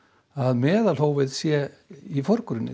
að meðalhófið sé í forgrunni